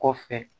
Kɔfɛ